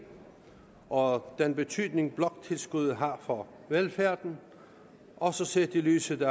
og den betydning bloktilskuddet har for velfærden også set i lyset